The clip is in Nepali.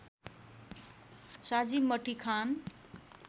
साझी मटिखान